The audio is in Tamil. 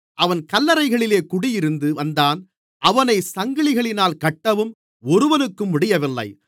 அவன் கல்லறைகளிலே குடியிருந்து வந்தான் அவனைச் சங்கிலிகளினால் கட்டவும் ஒருவனுக்கும் முடியவில்லை